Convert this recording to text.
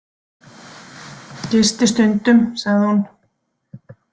Gisti stundum, sagði hún.